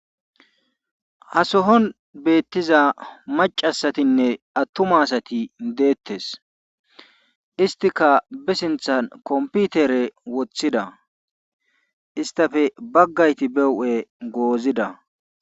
Ha sohuwan beetiza macca asatinne atuma asati deetees. istikka be sinththan kompitire wothida. istappe bagay behuuphe goozida.